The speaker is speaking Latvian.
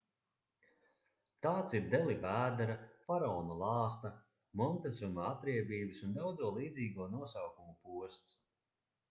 tāds ir deli vēdera faraona lāsta montezuma atriebības un daudzo līdzīgo nosaukumu posts